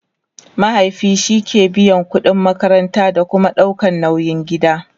mahaifi shike biyan ƙudin makaranta da Kuma ɗaukan nauyin gida